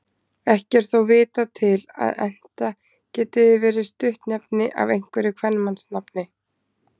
Ekki er þó vitað til að Enta geti verið stuttnefni af einhverju kvenmannsnafni.